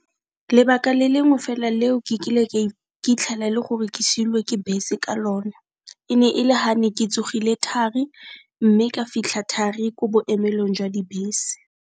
Lebaka le lengwe fela le o ke kile ke 'itlhela e le gore ke silwe ke bese ka lona, e ne e le ga ne ke tsogile thari, mme ka fitlha thari ko boemelong jwa dibese.